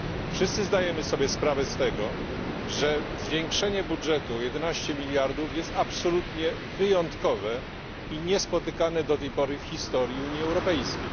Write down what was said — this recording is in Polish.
Wszyscy zdajemy sobie sprawę z tego, że zwiększenie budżetu o 11 mld jest absolutnie wyjątkowe i niespotykane do tej pory w historii Unii Europejskiej.